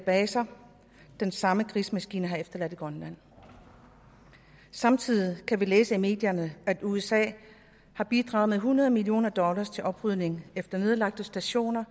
baser den samme krigsmaskine har efterladt i grønland samtidig kan vi læse i medierne at usa har bidraget med hundrede million dollar til oprydningen efter nedlagte stationer